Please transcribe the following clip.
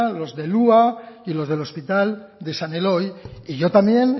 los del hua y los hospital de san eloy y yo también